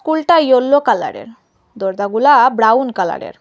কুলটা yellow কালারের দরজাগুলা brown কালারের।